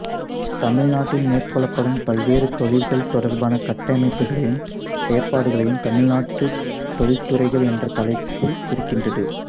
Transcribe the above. தமிழ்நாட்டில் மேற்கொள்ளப்படும் பல்வேறு தொழில்கள் தொடர்பான கட்டமைப்புளையும் செயற்பாடுகளையும் தமிழ்நாட்டு தொழிற்துறைகள் என்ற தலைப்பு குறிக்கின்றது